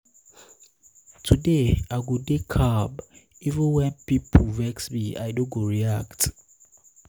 today i go dey um calm even wen pipo even wen pipo vex me i no go react.